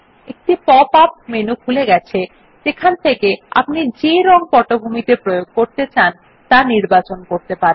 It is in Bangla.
একটি পপ আপ মেনু খুলে গেছে যেখান থেকে আপনি যে রঙ পটভূমিতে প্রয়োগ করতে চান তা নির্বাচন করতে পারেন